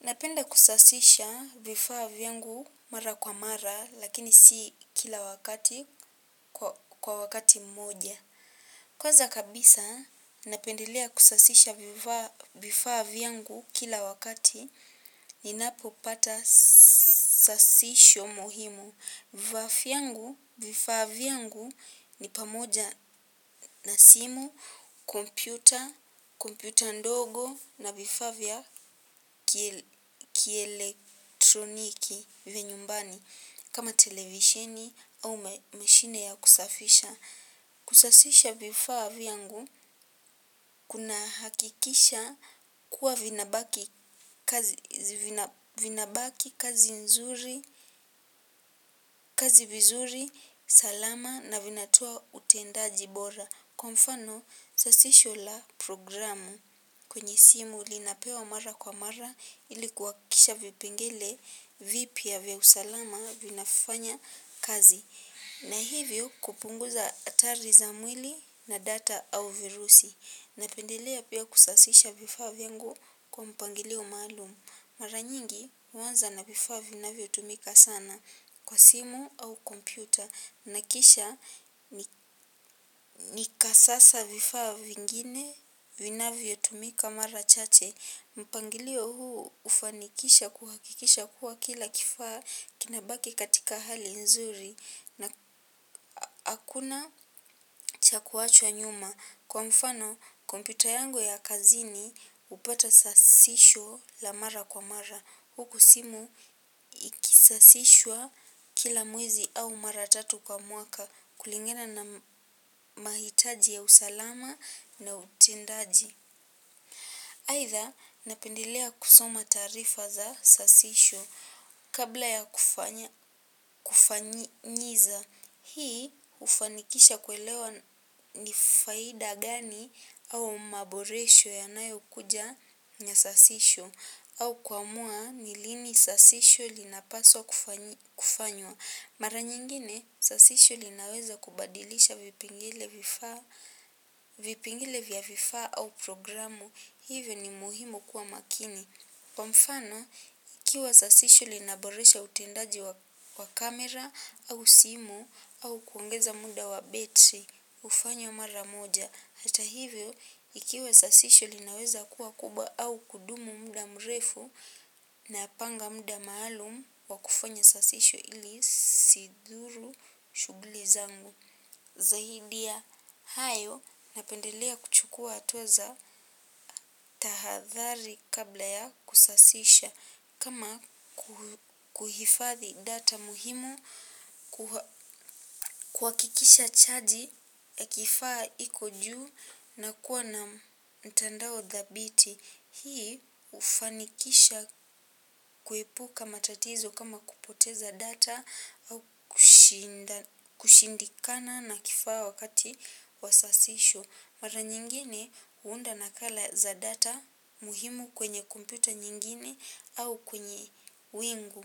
Napenda kusasisha vifaa vyangu mara kwa mara lakini si kila wakati kwa wakati mmoja. Kwanza kabisa napendelea kusasisha vifaa vyangu kila wakati ninapo pata sasisho muhimu. Vifaa vyangu, vifaa vyangu ni pamoja na simu, kompyuta, kompyuta ndogo, na vifaa vya kielektroniki vya nyumbani kama televisheni ama mashine ya kusafisha. Kusasisha vifaa vyangu kuna hakikisha kuwa vinabaki kazi nzuri, kazi vizuri, salama na vinatoa utendaji bora kwa mfano sasisho la programu kwenye simu linapewa mara kwa mara ilikuhakisha vipengele vipya vya usalama vinafanya kazi. Na hivyo kupunguza hatari za mwili na data au virusi. Napendelea pia kusasisha vifaa vyangu kwa mpangilio maalum. Mara nyingi huanza na vifaa vinavyo tumika sana kwa simu au kompyuta. Na kisha ni kasasa vifaa vingine vinavyo tumika mara chache. Mpangilio huu hufanikisha kuhakikisha kuwa kila kifaa kinabaki katika hali nzuri. Na hakuna cha kuachwa nyuma. Kwa mfano, kompyuta yangu ya kazini hupata sasisho la mara kwa mara. Huku simu ikisasishwa kila mwezi au mara tatu kwa mwaka kulingana na mahitaji ya usalama na utendaji. Haitha napendelea kusoma taarifa za sasisho kabla ya kufanyiza. Hii hufanikisha kuelewa ni faida gani au maboresho yanayo kuja na sasisho au kuamua nilini sasisho linapaswa kufanywa. Mara nyingine, sasisho linaweza kubadilisha vipengele vifaa, vipengele vya vifaa au programu, hivyo ni muhimu kuwa makini. Kwa mfano ikiwa sasisho linaboresha utendaji wa camera au simu au kuongeaza muda wa battery hufanywa mara moja. Hata hivyo, ikiwa sasisho linaweza kubwa au kudumu muda mrefu napanga muda maalum wa kufanya sasisho ili isidhuru shughuli zangu. Zaidi ya hayo napendelea kuchukua hatua za tahadhari kabla ya kusasisha kama kuhifadhi data muhimu, kuhakikisha chaji ya kifaa iko juu na kuwa na mtandao dhabiti. Hii hufanikisha kuepuka matatizo kama kupoteza data au kushindikana na kifaa wakati wa sasisho. Mara nyingine huunda nakala za data muhimu kwenye kompyuta nyingine au kwenye wingu.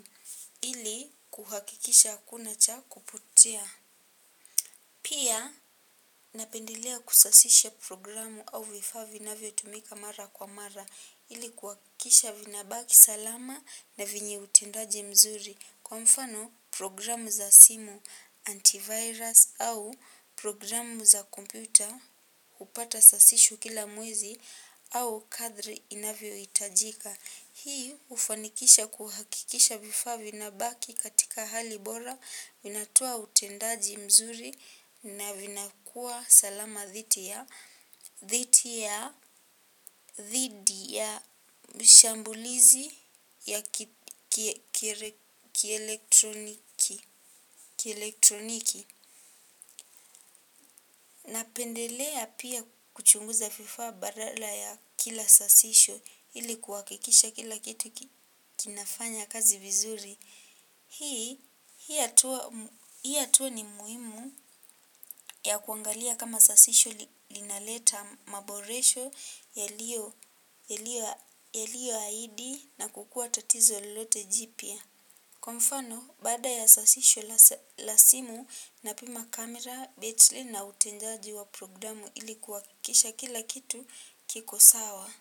Ili kuhakikisha hakuna cha kupotea. Pia napendelea kusasisha programu au vifaa vinavyo tumika mara kwa mara. Ili kuhakikisha vinabaki salama na venye utendaji mzuri kwa mfano programu za simu antivirus au programu za kompyuta hupata sasisho kila mwezi au kadri inavyo hitajika. Hii hufanikisha kuhakikisha vifaa vinabaki katika hali bora, vinatoa utendaji mzuri na vinakua salama dhidi ya dhidi ya dhidi ya mshambulizi ya kielektroniki. Na pendelea pia kuchunguza vifaa baada ya kila sasisho ili kuhakikisha kila kitu kinafanya kazi vizuri hii, hii hatuwa ni muhimu ya kuangalia kama sasisho linaleta maboresho yaliyo yaliyo ahidi na kukuwa tatizo lolote jipya kwa mfano baada ya sasisho la simu napima camera, battery na utendaji wa wa programu ili kisha kila kitu kiko sawa.